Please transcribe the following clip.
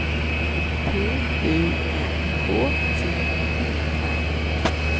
P U N K T E R